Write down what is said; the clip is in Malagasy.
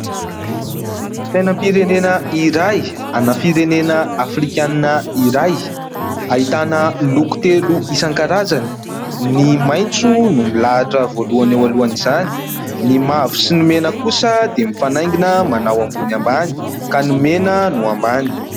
Sainam-pirenena iray ana firenena afrikanina iray. Ahitana loko telo isan-karazany. Ny maitso no milahatra voalohany eo alohan'izany. Ny mavo sy ny mena kosa dia mifanaingina manao ambony ambany ka ny mena no ambany.